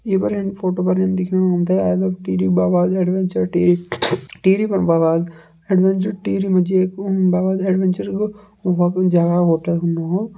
ये पर एन फ़ोटो पर एन दिखेणु हमते I love Tehri Baba's adventure Tehri Tehri fun Baba's adventure Tehri मजी एक उम बाबाज़ एडवेंचर ह गो उहां कु कोई जहां होटल हूंदो हो।